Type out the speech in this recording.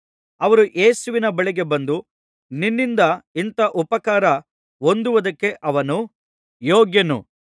ಅವರು ಯೇಸುವಿನ ಬಳಿಗೆ ಬಂದು ನಿನ್ನಿಂದ ಇಂಥ ಉಪಕಾರ ಹೊಂದುವುದಕ್ಕೆ ಅವನು ಯೋಗ್ಯನು